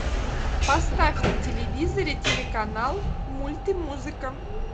поставь на телевизоре телеканал мульт и музыка